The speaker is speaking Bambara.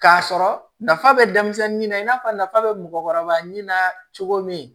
K'a sɔrɔ nafa bɛ denmisɛnnin na i n'a fɔ nafa bɛ mɔgɔkɔrɔba min na cogo min